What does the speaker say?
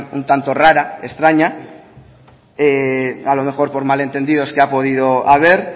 un tanto rara extraña a lo mejor por malentendidos que ha podido haber